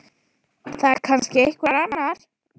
Það er kannski einhver annar.